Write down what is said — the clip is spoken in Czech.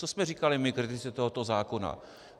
Co jsme říkali my, kritici tohoto zákona?